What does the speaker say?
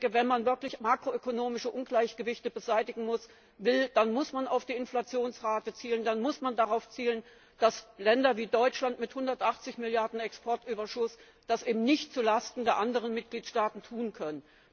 Wenn man wirklich makroökonomische Ungleichgewichte beseitigen will, dann muss man auf die Inflationsrate zielen, dann muss man darauf zielen, dass Länder wie Deutschland mit 180Milliarden Exportüberschuss das eben nicht zulasten der anderen Mitgliedstaaten tun können.